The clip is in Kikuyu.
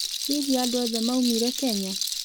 hĩhĩ andũ othe maũmĩre Kenya?